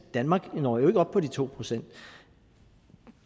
danmark når jo ikke op på de to procent